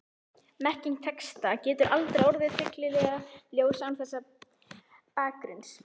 Merking texta getur aldrei orðið fyllilega ljós án þessa bakgrunns.